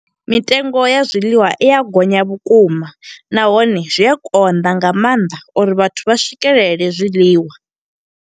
Mitengo ya zwiḽiwa i ya gonya vhukuma, nahone zwi a konḓa nga maanḓa uri vhathu vha swikelele zwiḽiwa.